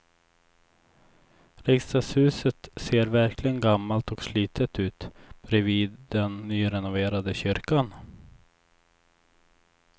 Riksdagshuset ser verkligen gammalt och slitet ut bredvid den nyrenoverade kyrkan.